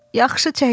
Yaxşı çəkdin.